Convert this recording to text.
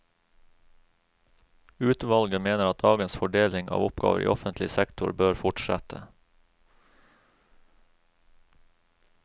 Utvalget mener at dagens fordeling av oppgaver i offentlig sektor bør fortsette.